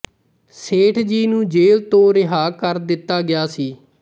ਸੇਠ ਜੀ ਨੂੰ ਜੇਲ੍ਹ ਤੋਂ ਰਿਹਾ ਕਰ ਦਿੱਤਾ ਗਿਆ ਸੀ